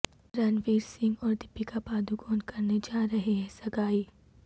رنویر سنگھ اور دیپیکا پاڈوکون کرنے جارہے ہیں سگائی